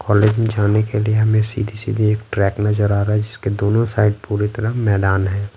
College में जाने के लिए हमें सीधी-सीधी एक ट्रैक नजर आ रहा है जिसके दोनों साइड पूरी तरह मैदान है।